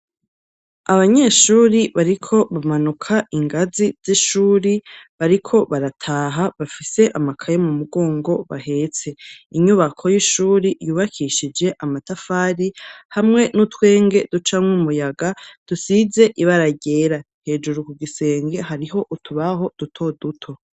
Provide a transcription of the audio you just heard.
Abanyeshuri bariko bamanuka ingazi z'ishuri bariko barataha, bafise amakaye mu mugongo bahetse. Inyubako y'ishuri yubakishije amatafari hamwe n'utwenge ducamwo, umuyaga dusize ibara ryera. Hejuru ku gisenge hariho utubaho duto duto.